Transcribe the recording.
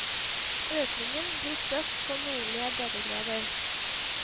Økningen blir størst på nordlige breddegrader.